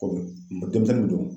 Komi denmisɛnnin min don.